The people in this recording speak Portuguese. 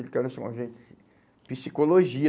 a gente, psicologia.